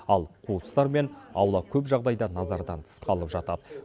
ал қуыстар мен аула көп жағдайда назардан тыс қалып жатады